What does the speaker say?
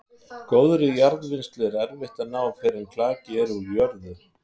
Góðri jarðvinnslu er erfitt að ná fyrr en klaki er úr jörð.